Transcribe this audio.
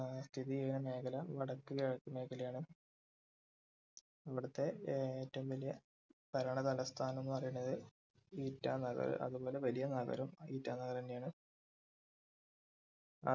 ഏർ സ്ഥിതി ചെയ്യുന്ന മേഖല വടക്ക് കിഴക്ക് മേഖലയാണ് ഇവുടുത്തെ ഏറ്റവും വലിയ ഭരണ തലസ്ഥാനം എന്ന് പറയുന്നത് ഇറ്റാനഗർ അതുപോലെ വലിയ നഗരം ഇറ്റാനഗർ തന്നെയാണ്